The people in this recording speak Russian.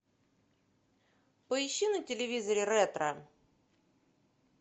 поищи на телевизоре ретро